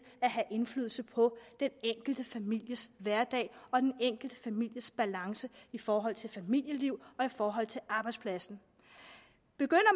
at have indflydelse på den enkelte families hverdag og den enkelte families balance i forhold til familieliv og i forhold til arbejdspladsen begynder